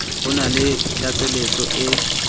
ho na le tlatseletso e